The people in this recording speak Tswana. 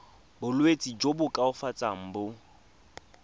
bolwetsi jo bo koafatsang jo